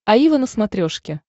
аива на смотрешке